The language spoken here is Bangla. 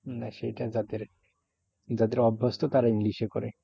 না সেইটা যাদের যাদের অভ্যস্ত তারা english এ করে।